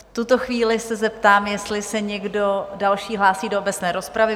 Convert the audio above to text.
V tuto chvíli se zeptám, jestli se někdo další hlásí do obecné rozpravy?